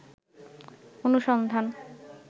অনুসন্ধান